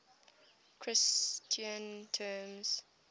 christian terms